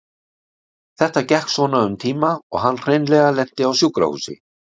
Þetta gekk svona um tíma og hann hreinlega lenti á sjúkrahúsi.